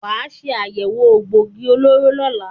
Wà á ṣe àyẹ̀wò egboògi olóró lọ́la!